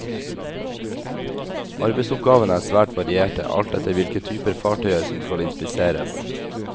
Arbeidsoppgavene er svært varierte, alt etter hvilke typer fartøyer som skal inspiseres.